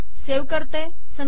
save करते